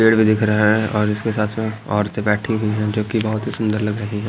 पेड़ भी दिख रहा है और उसके साथ साथ औरतें बैठी है जो बहोत ही सुंदर लग रही है।